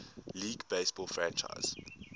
league baseball franchise